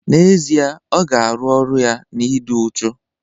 N'ezie, ọ ga-arụ ọrụ ya na ịdị uchu